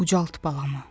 Ucalt balamı.